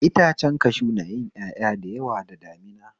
Itace kashu na yin ƴaƴa da yawa da damina